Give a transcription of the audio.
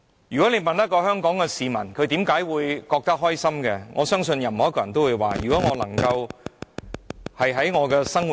如果問香港市民如何才會覺得開心，我相信任何一位都會說，只要生活......